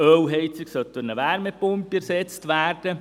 Eine Ölheizung soll durch eine Wärmepumpe ersetzt werden.